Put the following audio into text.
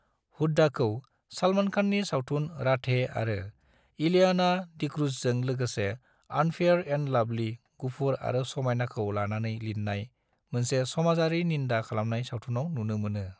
हुड्डाखौ सलमान खाननि सावथुन, 'राधे' आरो इलियाना डिक्रूजजों लोगोसे 'अनफेयर एंड लवली', गुफुर आरो समायनाखौ लानानै लिरनाय मोनसे समाजारि निन्दा खालामनाय सावथुनाव नुनो मोनो ।